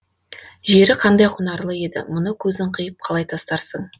жері қандай құнарлы еді мұны көзің қиып қалай тастарсың